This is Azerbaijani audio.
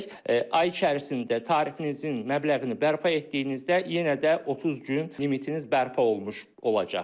Ay içərisində tarifinizin məbləğini bərpa etdiyinizdə yenə də 30 gün limitiniz bərpa olunmuş olacaq.